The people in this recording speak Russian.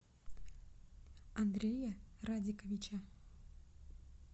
андрея радиковича